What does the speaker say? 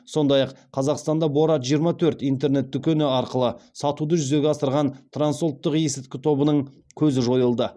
сондай ақ қазақстанда борат жиырма төрт интернет дүкені арқылы сатуды жүзеге асырған трансұлттық есірткі тобының көзі жойылды